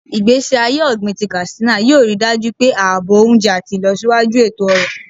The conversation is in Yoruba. Igbesi aye ogbin ti Katsina yoo rii daju pe aabo ounje ati ilosiwaju eto-ọrọ.